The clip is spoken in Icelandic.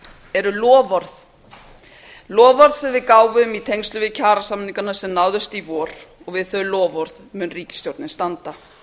eru loforð loforð sem við gáfum í tengslum við kjarasamningana sem náðust í vor og við þau loforð mun ríkisstjórnin standa